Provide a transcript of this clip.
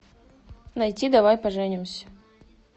найти давай поженимся